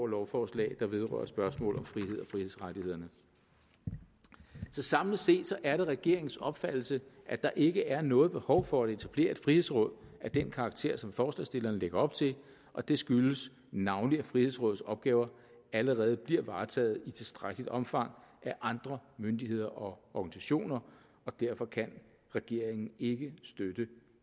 lovforslag der vedrører spørgsmål om frihed og frihedsrettighederne så samlet set er det regeringens opfattelse at der ikke er noget behov for at etablere et frihedsråd af den karakter som forslagsstillerne lægger op til og det skyldes navnlig at frihedsrådets opgaver allerede bliver varetaget i tilstrækkeligt omfang af andre myndigheder og organisationer og derfor kan regeringen ikke støtte